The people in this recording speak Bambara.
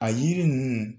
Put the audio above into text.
A yiri ninnu